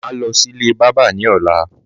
Màá list ilé bábà ní ọ̀la)